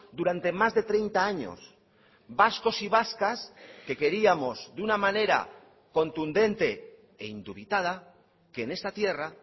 durante más de treinta años vascos y vascas que queríamos de una manera contundente e indubitada que en esta tierra